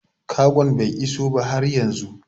Kagon bai iso ba har yanzu